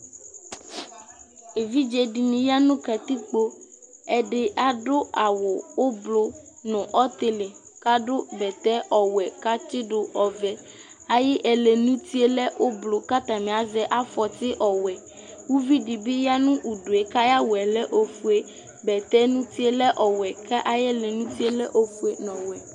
Evidzedini ya nu katikpo ɛdi adu awu ublu nu ɔtili adu bɛtɛ ɔwɛ katsidu ɔvɛ ayu ɛlɛ yɛ nu uti lɛ ublu atani azɛ afɔti lɛ ɔwɛ uvidibi yanu udu ku ayawu lɛ ofue bɛtɛ nu utie lɛ ɔwɛ ayu ɛlɛ nuti lɛ ofue nu ɔwɛ